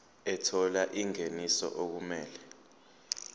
ethola ingeniso okumele